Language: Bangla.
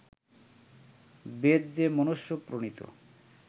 বেদ যে মনুষ্য-প্রণীত